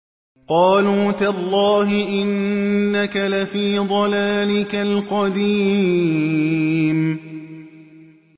قَالُوا تَاللَّهِ إِنَّكَ لَفِي ضَلَالِكَ الْقَدِيمِ